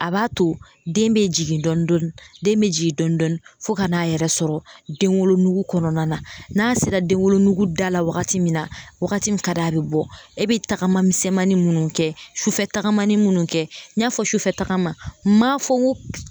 A b'a to den bɛ jigin dɔɔnin dɔɔnin den bɛ jigin dɔɔnin dɔɔnin fo ka n'a yɛrɛ sɔrɔ denwolonugu kɔnɔna na n'a sera denwolonugu da la wagati min na wagati min ka di a bɛ bɔ e bɛ tagama misɛnmanin minnu kɛ sufɛ tagamani minnu kɛ n y'a fɔ sufɛ tagama n m'a fɔ n ko